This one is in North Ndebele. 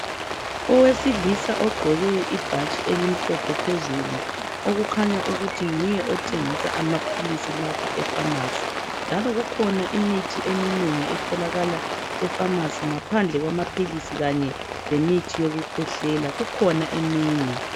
Owesilisa ogqoke ibhatshi elimhlophe phezulu. Okukhanya ukuthi nguye othengisa amapilisi lapha efamasi. Njalo kukhona imithi eminengi otholakala efamasi. Ngaphandle kwamapilisi kanye lemithi yokukhwehlela, kukhona eminye.